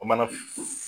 O mana